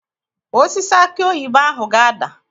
Osisi akị oyibo ahụ ga-ada.